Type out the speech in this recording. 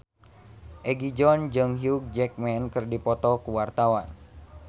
Egi John jeung Hugh Jackman keur dipoto ku wartawan